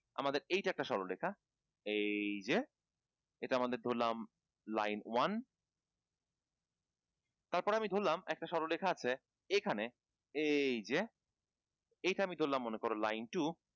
আমাদের এইটা একটা সরলরেখা এই যে এটা আমাদের ধরালাম line one